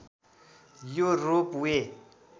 यो रोप वे